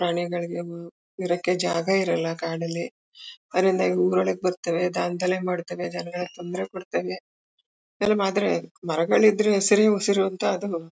ಪ್ರಾಣಿಗಳಿಗೆ ಬ್ ಇರಕ್ಕೆ ಜಾಗ ಇರಲ್ಲ ಕಾಡಲ್ಲಿ ಅದ್ರಿಂದ ಊರಿನ್ಳಕ್ ಬರ್ತವೆ ದಾಂದಲೆ ಮಾಡ್ತವೆ ಜನಗಳಿಗೆ ತೊಂದ್ರೆ ಕೊಡ್ತವೆ ಹಿಂಗೆಲ್ಲ ಮಾಡಿದ್ರೆ ಮರಗಳಿದ್ರೆ ಹಸಿರೇ ಉಸಿರು ಅಂತ ಅದು.